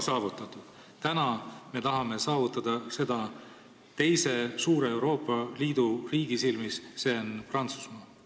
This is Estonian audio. Nüüd me tahame selle saavutada teise suure Euroopa Liidu riigi silmis, see on Prantsusmaa.